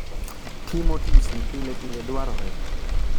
Timo tisi pilepile dwarore